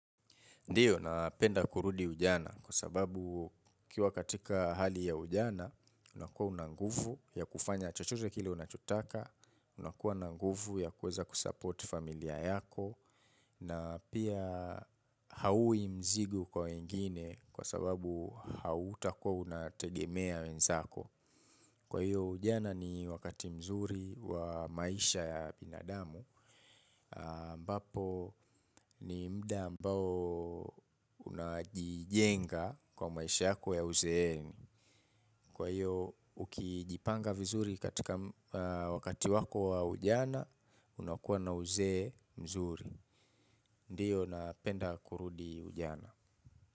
Ndiyo, napenda kurudi ujana kwa sababu ukiwa katika hali ya ujana, unakuwa una nguvu ya kufanya chochote kile unachotaka, unakuwa na nguvu ya kuweza kusupport familia yako, na pia haui mzigo kwa wengine kwa sababu hautakuwa unategemea wenzako. Kwa hiyo, ujana ni wakati mzuri wa maisha ya binadamu, ambapo ni muda ambao unajijenga kwa maisha yako ya uzeeni. Kwa hiyo ukijipanga vizuri katika wakati wako wa ujana unakuwa na uzee mzuri. Ndio napenda kurudi ujana.